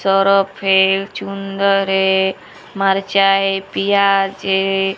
मर्चाई प्याज है।